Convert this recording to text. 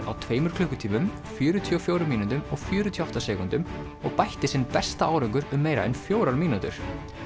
á tveimur klukkutímum fjörutíu og fjórum mínútum og fjörutíu og átta sekúndum og bætti sinn besta árangur um meira en fjórar mínútur